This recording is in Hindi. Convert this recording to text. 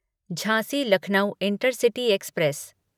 Jhansi Lucknow intercity express